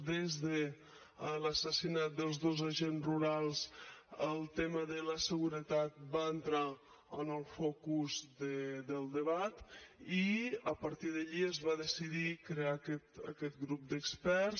des de l’assassinat dels dos agents rurals el tema de la seguretat va entrar en el focus del debat i a partir d’allí es va decidir crear aquest grup d’experts